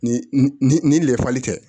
Ni ni ni lɛfali tɛ